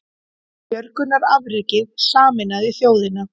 Björgunarafrekið sameinaði þjóðina